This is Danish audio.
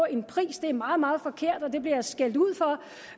en pris det er meget meget forkert og jeg bliver skældt ud for